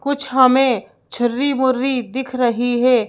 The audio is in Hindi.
कुछ हमें छुर्री मुर्री दिख रही है।